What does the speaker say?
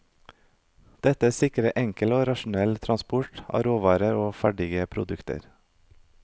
Dette sikret enkel og rasjonell transport av råvarer og ferdige produkter.